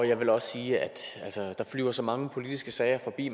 jeg vil også sige at der flyver så mange politiske sager forbi